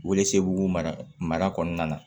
Welesebugu mara kɔnɔna na